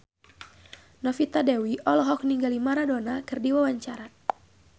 Novita Dewi olohok ningali Maradona keur diwawancara